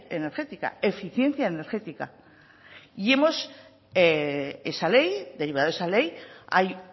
energética eficiencia energética y derivado de esa ley hay